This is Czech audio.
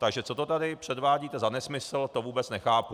Takže co to tady předvádíte za nesmysl, to vůbec nechápu.